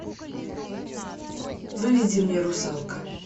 выведи мне русалка